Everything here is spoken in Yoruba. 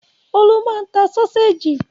Olú máa ń ta sọ́séjì.